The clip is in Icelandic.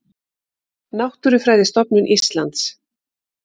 Náttúrufræðistofnun Íslands.